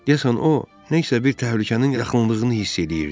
Deyəsən o nə isə bir təhlükənin yaxınlığını hiss eləyirdi.